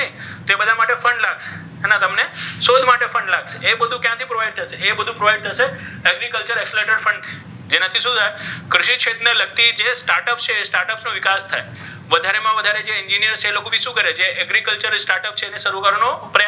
માટે પણ લાગશે ઍ બધુ કયાથી provide થશે ઍ બધુ ક્યાથી provide થશે agriculture જેનાથી શુ થાય ખેતીક્ષેત્ર ને લગતા જે start up છે ઍ start up નો વિકાસ થાય વધારે મા વધારે જે engineer છે તે લોકો ભી શુ કરે છે start up છે ઍને શરુ કરવાનો પ્રયાસ્,